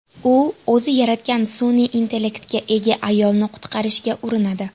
U o‘zi yaratgan sun’iy intellektga ega ayolni qutqarishga urinadi.